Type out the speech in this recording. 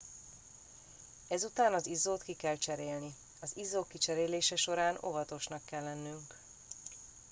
ezután az izzót ki kell cserélni az izzó kicserélése során óvatosnak kell lennünk